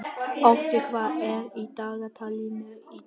Otti, hvað er í dagatalinu í dag?